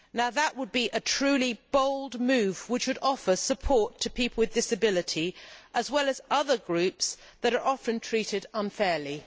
That would be a truly bold move which would offer support to people with disabilities as well as other groups that are often treated unfairly.